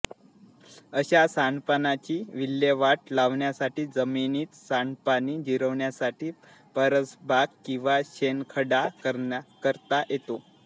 अशा सांडपाण्याची विल्हेवाट लावण्यासाठी जमिनीत सांडपाणी जिरण्यासाठी परसबाग किंवा शोषखड्डा करता येतो